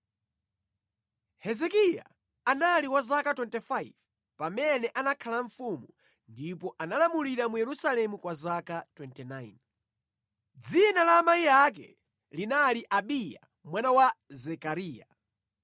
Hezekiya anali wa zaka 25 pamene anakhala mfumu ndipo analamulira mu Yerusalemu kwa zaka 29. Dzina la amayi ake linali Abiya mwana wa Zekariya.